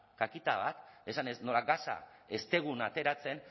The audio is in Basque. kakita bat esanez nola gasa ez dugun ateratzen